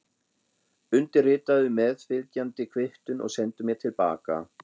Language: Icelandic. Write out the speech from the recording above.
Undirritaðu meðfylgjandi kvittun og sendu mér til baka.